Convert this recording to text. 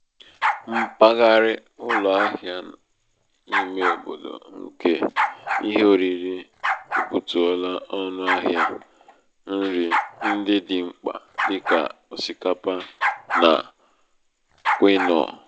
mpaghara ụlọ ahịa ímé obodo nke ihe oriri ebutuola ọnụ ahịa um nri ndị dị mkpa dị ka osikapa um na kwinoa.